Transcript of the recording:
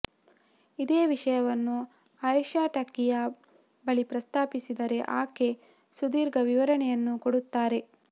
ಇದೇ ವಿಷಯವನ್ನು ಆಯೇಷಾ ಟಕಿಯಾ ಬಳಿ ಪ್ರಸ್ತಾಪಿಸಿದರೆ ಆಕೆ ಸುದೀರ್ಘ ವಿವರಣೆಯನ್ನೂ ಕೊಡುತ್ತಾರೆ